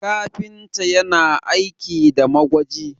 kafinta yana aiki da magwaji